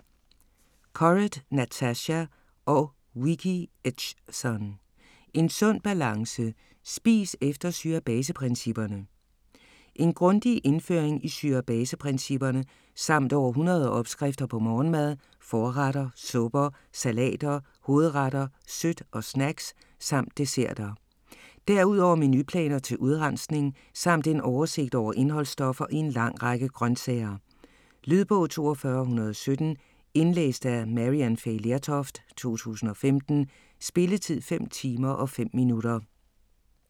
Corrett, Natasha og Vicki Edgson: En sund balance: spis efter syre-base-principperne En grundig indføring i syre-base-principperne, samt over 100 opskrifter på morgenmad, forretter, supper, salater, hovedretter, sødt og snacks samt desserter. Derudover menuplaner til udrensning samt en oversigt over indholdsstoffer i en lang række grøntsager. Lydbog 42117 Indlæst af Maryann Fay Lertoft, 2015. Spilletid: 5 timer, 5 minutter.